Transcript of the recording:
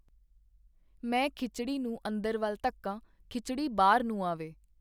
ਮੈ ਖਿਚੜੀ ਨੂੰ ਅੰਦਰ ਵਲ ਧੱਕਾਂ, ਖਿੱਚੜੀ ਬਾਹਰ ਨੂੰ ਆਵੇ.